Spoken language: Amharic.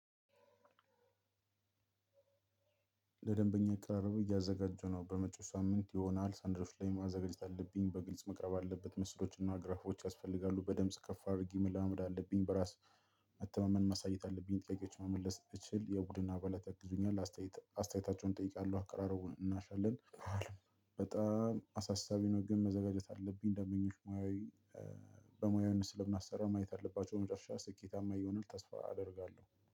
ለደንበኛ አቀራረቡ እያዘጋጀሁ ነው በመጪው ሳምንት የሆነ ያህል ሰነዶች ላይ ማዘጋጀት አለብኝ በግልጽ መቅረብ አለበት ምስሎችና ግራፎች ያስፈልጋሉ በድምጽ ከፍ አድርጌ መለማመድ አለብኝ። መተማመን ማሳየት አለብኝ ጥያቄዎችን ብችል የቡድን አባላት ያግዙኛል አስተያየት አስተያየታቸውን እጠይቃለሁ አቀራረቡን እናያለን። በጣም አሳሳቢ ነው ግን መዘጋጀት አለብኝ። ደንበኛ ሙያዊ። በሙያዊ ስለማሰራ ማየት አለባቸው መጨረሻ ስኬታማ ይሆናል። ተስፋ አደርጋለሁ።